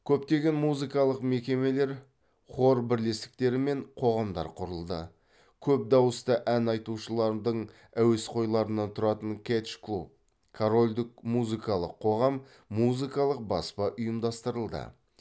көптеген музыкалық мекемелер хор бірлестіктері мен қоғамдар құрылды көп дауысты ән айтушылардың әуесқойларынан тұратын кэтч клуб корольдік музыкалық қоғам музыкалық баспа ұйымдастырылды